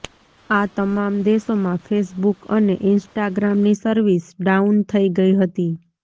આ તમામ દેશોમાં ફેસબુક અને ઇન્સ્ટાગ્રામની સર્વિસ ડાઉન થઇ ગઇ હતી